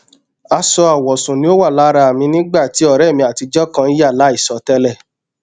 aṣọ awọsun ni o wa lara mi nigba ti ọrẹ mi atijọ kan ya laisọ tẹlẹ